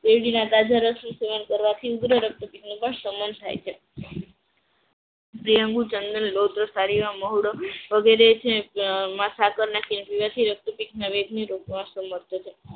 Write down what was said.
શેરડી ના તાજા રસનું સેવન કરવાથી ઉગ્ર રક્તપિત નું પણ શમન થાય છે. મહુડો વગેરે મા સાકર મેળવી રક્ત